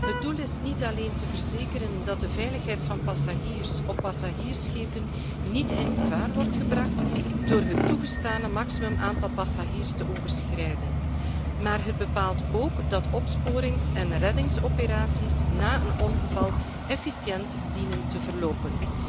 Het doel is niet alleen te verzekeren dat de veiligheid van passagiers op passagiersschepen niet in gevaar wordt gebracht door het toegestane maximum aantal passagiers te overschrijden, maar de richtlijn bepaalt ook dat opsporings en reddingsoperaties na een ongeval efficiënt dienen te verlopen.